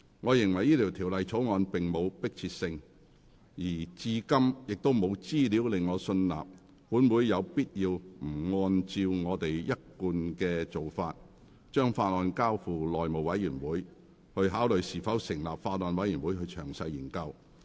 我認為該條例草案並無迫切性，而至今亦沒有資料令我信納，本會有必要不按照一貫做法，把法案交付內務委員會，考慮是否成立法案委員會詳細研究。